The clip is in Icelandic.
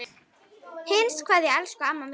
HINSTA KVEÐJA Elsku amma mín.